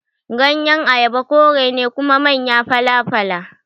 Ganyen Ayaba kore ne kuma manya fala-fala.